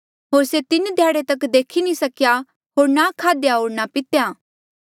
होर से तीन ध्याड़े तक नी देखी सकेया होर ना खादेया होर ना पितेया